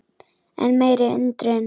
Enn meiri undrun